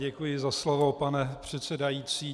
Děkuji za slovo, pane předsedající.